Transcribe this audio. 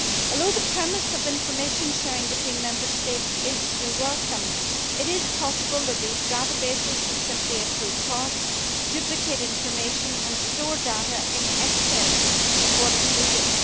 Although the premise of information sharing between Member States is to be welcomed, it is possible that these databases would simply accrue cost, duplicate information and store data in excess of what is needed.